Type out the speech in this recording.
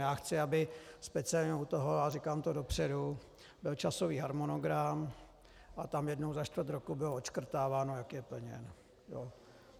Já chci, aby speciálně u toho, a říkám to dopředu, byl časový harmonogram a tam jednou za čtvrt roku bylo odškrtáváno, jak je plněn.